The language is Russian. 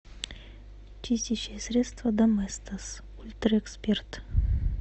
чистящее средство доместос ультра эксперт